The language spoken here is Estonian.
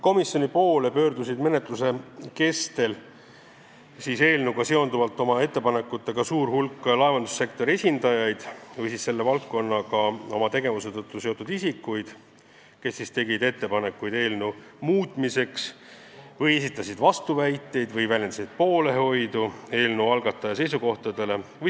Komisjoni poole pöördus menetluse kestel suur hulk laevandussektori esindajaid ja muid selle valdkonnaga oma tegevuse tõttu seotud isikuid, kes tegid ettepanekuid eelnõu muutmiseks, esitasid vastuväiteid või väljendasid poolehoidu eelnõu algataja seisukohtadele.